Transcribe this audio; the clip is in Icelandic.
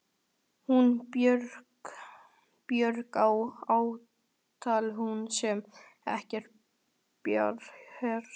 Hún Björg- já, ætli hún sé ekki bara hress.